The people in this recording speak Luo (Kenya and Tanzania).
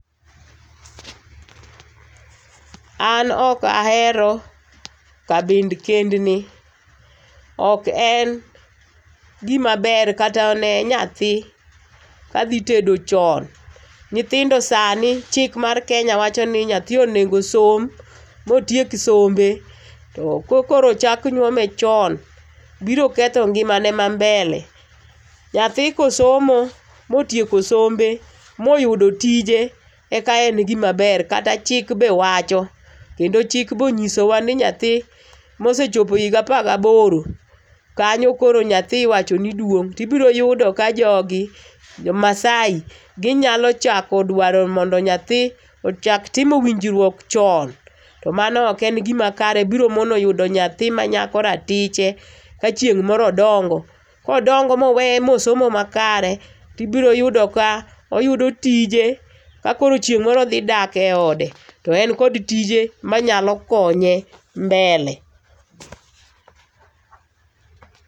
An ok ahero kabind kendni, ok en gima ber ka ta ne nyathi ka dhitedo chon. Nyithindo sani, chik mar Kenya wacho ni nyathi onego osom ma otiek sombe. To ka koro ochak nyuome chon biro ketho ngimane ma mbele. Nyathi ka osomo motieko sombe ma oyudo tije eka en gima ber kata chik be wacho kendo chik be onyisowa ni nyathi ma osechopo higa apar gi aboro kanyo koro nyathi iwacho ni duong' to ibiro yudo ka jogi, jo Maasai ginyalo chako duaro mondo nyathi ochak timo winjruok chon to mano ok en gima kare biro mono yudo nyathi manyako ratiche ka chieng' moro odongo. Ka odongo ma oweye ma osomo makare, to ibiro yudo ka oyudo tije, ka koro chieng' moro odhi dak eode to en kod tije manyalo konye mbele[cs|.